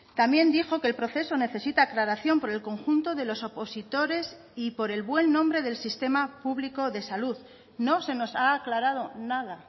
también dijo que el proceso necesita aclaración por el conjunto de los opositores y por el buen nombre del sistema público de salud no se nos ha aclarado nada